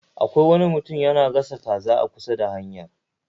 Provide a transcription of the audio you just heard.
Akwai wani mutum yana gasa kaza a kusa da hanyar